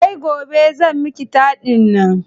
Sai gobe zan miki taɗin nan.